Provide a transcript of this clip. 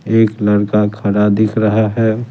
एक लड़का खड़ा दिख रहा है।